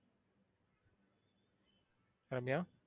Ramya.